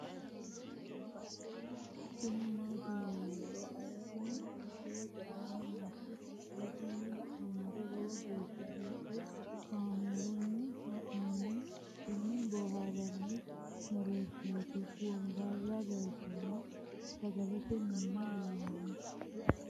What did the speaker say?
tini maati yinummoro aleenni misilete aana nooti hala'ladunni la'nummoro lowo geeshsha biiffe kaamerunni haa'nooniti tini booharranni mereerishshaati wombara leeltanno sagalete minino leellanno